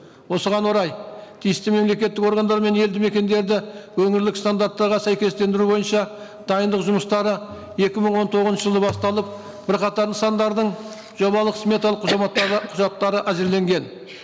осыған орай тиісті мемлекеттік органдары мен елді мекендерді өңірлік стандарттарға сәйкестендіру бойынша дайындық жұмыстары екі мың он тоғызыншы жылы басталып бірқатар нысандардың жобалық сметалық құжаттары әзірленген